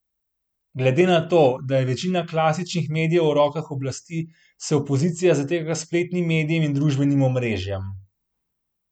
Glede na to, da je večina klasičnih medijev v rokah oblasti, se opozicija zateka k spletnim medijem in družbenim omrežjem.